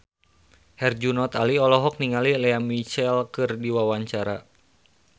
Herjunot Ali olohok ningali Lea Michele keur diwawancara